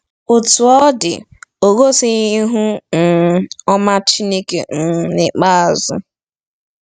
Otú ọ dị, o gosighị ihu um ọma Chineke um n’ikpeazụ.